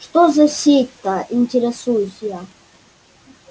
что за сеть-то интересуюсь я